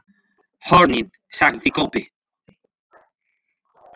HORNIN, sagði Kobbi.